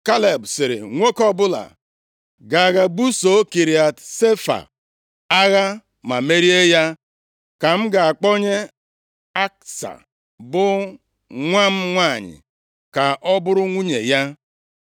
Kaleb sịrị, “Nwoke ọbụla ga-aga busoo Kiriat Sefa agha ma merie ya ka m ga-akpọnye Aksa bụ nwa m nwanyị ka ọ bụrụ nwunye ya.”